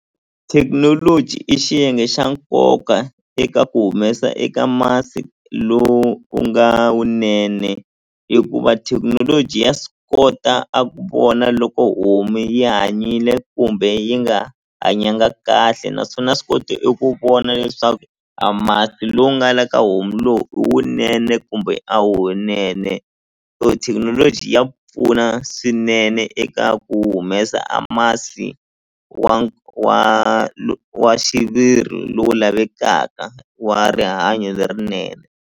Thekinoloji i xiyenge xa nkoka eka ku humesa eka masi lowu nga wunene hikuva thekinoloji ya swi kota a ku vona loko homu yi hanyile kumbe yi nga hanyanga kahle naswona ya swi koti eku vona leswaku a masi lowu nga le ka homu lowu i wunene kumbe a wunene so thekinoloji ya pfuna swinene eka ku humesa a masi wa wa wa xiviri lowu lavekaka wa rihanyo lerinene.